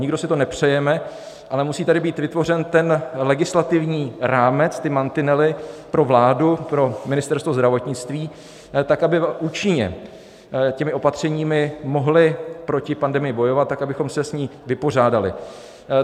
Nikdo si to nepřejeme, ale musí tady být vytvořen ten legislativní rámec, ty mantinely pro vládu, pro Ministerstvo zdravotnictví, tak aby účinně těmi opatřeními mohly proti pandemii bojovat tak, abychom se s ní vypořádali.